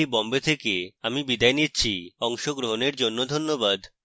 I I T Bombay থেকে আমি বিদায় নিচ্ছি অংশগ্রহনের জন্যে ধন্যবাদ